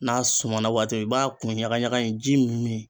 N'a sumana waati i b'a kun ɲaga ɲaga in ji min.